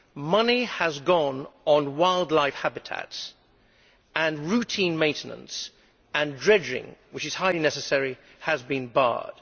Money has gone on wildlife habitats, and routine maintenance and dredging which is highly necessary has been barred.